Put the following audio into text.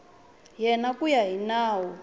yena ku ya hi nawu